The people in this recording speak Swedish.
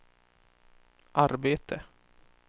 arbete